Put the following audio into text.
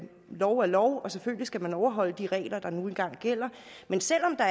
lov er lov og selvfølgelig skal man overholde de regler der nu engang gælder men selv om der